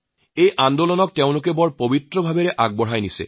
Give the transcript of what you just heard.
এই আন্দোলনক তেওঁলোকে পবিত্ৰ ৰূপত আগুৱাই নিছে